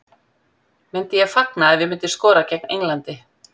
Myndi ég fagna ef ég myndi skora gegn Englandi?